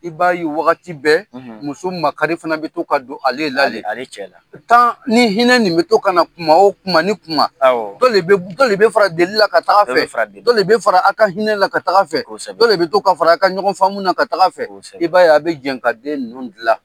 I b'a ye wagati bɛɛ muso makari fana bɛ to ka don ale la le yen, ale cɛ la, ni hinɛ nin mi to kana kuma o kuma ni kuma dɔ le be dɔ le be fara delila ka taa fɛ, dɔ bɛ fara delila, dɔ le be fara a ka hinɛla ka taga fɛ, kosɛbɛ, dɔ le be to ka fara a ka ɲɔgɔnfaamu ka taga fɛ, kosɛbɛ, i b'a ye, a bɛ jɛ ka den ninnu dilan.